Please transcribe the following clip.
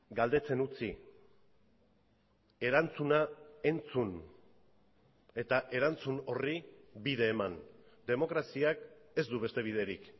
galdetzen utzi erantzuna entzun eta erantzun horri bide eman demokraziak ez du beste biderik